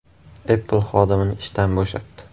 Apple xodimini ishdan bo‘shatdi.